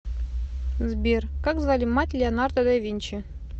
сбер как звали мать леонардо да винчи